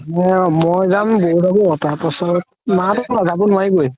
মই যাম বৌ যাব তাৰ পাছত মা হতও যাব নোৱাৰিৱে